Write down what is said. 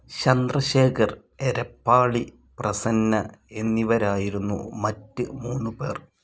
ചന്ദ്രശേഖർ, എരപ്പാളി, പ്രസന്ന എന്നിവരായിരുന്നു മറ്റ് മൂന്നുപേർ